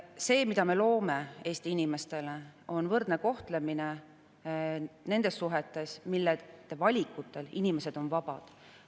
See, mida me loome Eesti inimestele, on võrdne kohtlemine nendes suhetes, mille puhul valikute tegemisel on inimesed vabad.